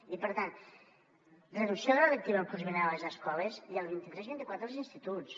i per tant reducció de la lectiva el curs vinent a les escoles i el vint tres vint quatre als instituts